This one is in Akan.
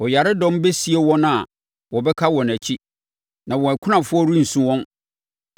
Ɔyaredɔm bɛsie wɔn a wɔbɛka wɔ nʼakyi, na wɔn akunafoɔ rensu wɔn.